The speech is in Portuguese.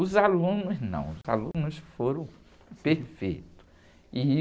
Os alunos não, os alunos foram perfeitos. E...